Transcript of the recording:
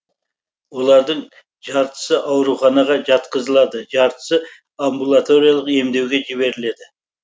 олардың жартысы ауруханаға жатқызылады жартысы амбулаториялық емдеуге жіберіледі